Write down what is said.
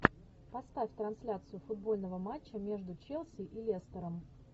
поставь трансляцию футбольного матча между челси и лестером